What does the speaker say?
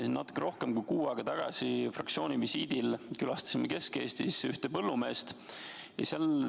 Natuke rohkem kui kuu aega tagasi fraktsiooni visiidil külastasime Kesk-Eestis ühte põllumeest.